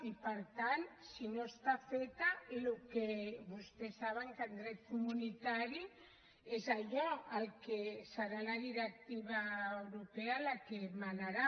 i per tant si no està feta vostès saben que en dret comunitari és allò serà la directiva europea la que manarà